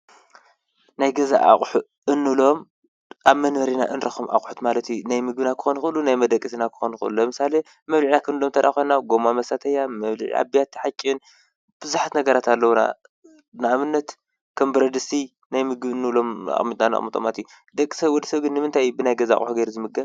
ናይ ገዛ ኣቁሑ እንብሎም ኣብ መንበሪና እንረክቦም ኣቁሑ ማለት እዩ፡፡ ናይ ምግብና ክኮኑ ይክእሉ ናይ መደቀሲና ለምሳሌ መብልዒና ክንብሎ ተደኣ ኮይና ጎማ መሳተያ መበለዒ ቢያቲ ሓጭን በዙሓት ነገራት አለዉና፡፡ ንኣብነት ከም ብረድስቲ ናይ ምግቢ እንብሎም ኣቢልና ነቅምጦም፡፡ ደቂ ሰብ ንምንታይ ብናይ ገዛ ኣቁሑ ገይሩ ዝምገብ?